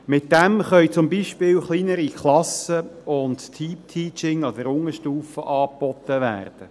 Damit können zum Beispiel kleinere Klassen und Team-Teaching an der Unterstufe angeboten werden.